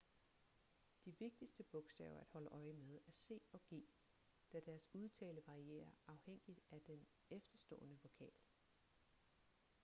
de vigtigste bogstaver at holde øje med er c og g da deres udtale varierer afhængigt af den efterstående vokal